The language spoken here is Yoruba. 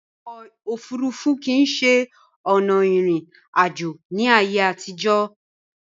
Ọkò òfurufú kìí ṣe ọ̀nà ìrìn àjò ní ayé àtìjọ̀.